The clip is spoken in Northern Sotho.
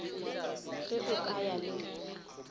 ge o ka ya le